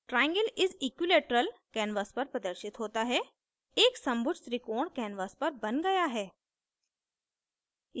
triangle is equilateral canvas पर प्रदर्शित होता है एक समभुज त्रिकोण canvas पर बन गया है